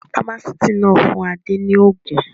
Fámásíítì náà fún Adé ní òògùn.